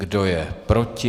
Kdo je proti?